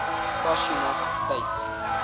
cross united states